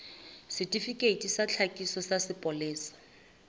setifikeiti sa tlhakiso sa sepolesa